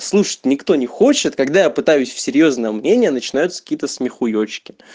слушать никто не хочет когда я пытаюсь серьёзно мнение начинаются какие-то смехуечки